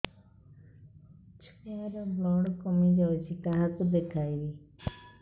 ଛୁଆ ର ବ୍ଲଡ଼ କମି ଯାଉଛି କାହାକୁ ଦେଖେଇବି